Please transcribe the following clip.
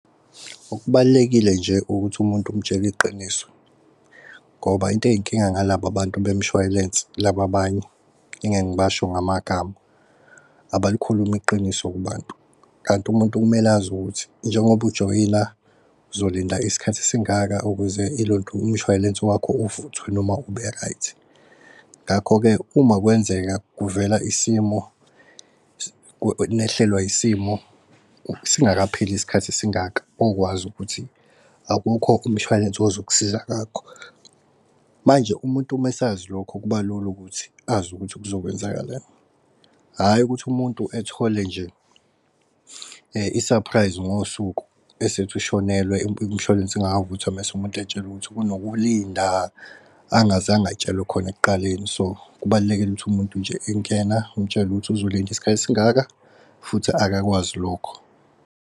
Okubalulekile nje ukuthi umuntu umtshele iqiniso ngoba into ey'nkinga ngalaba bantu bemishwalense. Laba abanye engeke ngibasho ngamagama abalikhulumi iqiniso kubantu. Kanti umuntu kumele azi ukuthi njengoba ujoyina uzolinda isikhathi esingaka ukuze ilontu umshwalense wakho uvuthwe noma ube-right. Ngakho-ke, uma kwenzeka kuvela isimo , nehlelwa isimo singakapheli isikhathi esingaka wokwazi ukuthi akukho umshwalense ozokusiza ngakho. Manje umuntu mesazi lokho kuba lula ukuthi azi ukuthi kuzo kwenzakalani hhayi ukuthi umuntu ethole nje i-surprise ngosuku esethi ushonelwe umshwalense ungavuthwa mese umuntu etshelwe ukuthi kunokulinda, angazange atshelwe khona ekuqaleni. So kubalulekile ukuthi umuntu nje engena umutshele ukuthi uzolinda isikhathi esingaka futhi akakwazi lokho.